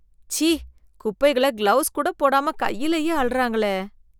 ச்சீ குப்பைகளை கிளவுஸ் கூட போடாம கையிலயே அள்ளறாங்களே.